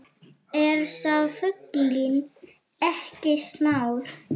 Er sá fuglinn ekki smár